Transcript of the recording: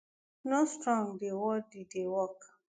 no strong dey worth di work